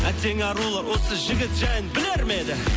әттең арулар осы жігіт жайын білер ме еді